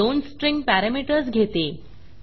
हे दोन string parameters घेते